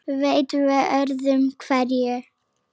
Leit við öðru hverju.